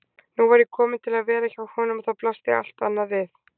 Nú var ég komin til að vera hjá honum og þá blasti allt annað við.